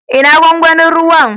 Ina gwangwanin ruwan?